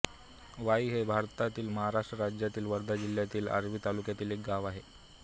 वाई हे भारतातील महाराष्ट्र राज्यातील वर्धा जिल्ह्यातील आर्वी तालुक्यातील एक गाव आहे